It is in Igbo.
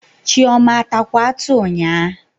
Chioma atakwa atụ nyaa?